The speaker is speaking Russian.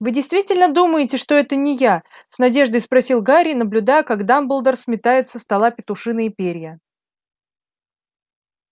вы действительно думаете что это не я с надеждой спросил гарри наблюдая как дамблдор сметает со стола петушиные перья